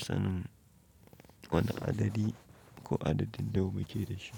sanin wane adadi ko adadin nawa muke da shi.